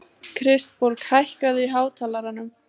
Kristborg, hækkaðu í hátalaranum.